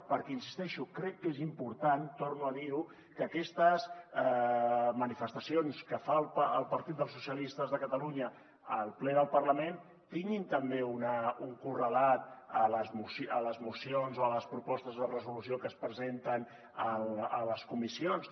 perquè hi insisteixo crec que és important torno a dir ho que aquestes manifestacions que fa el partit dels socialistes de catalunya al ple del parlament tinguin també un correlat a les mocions o a les propostes de resolució que es presenten a les comissions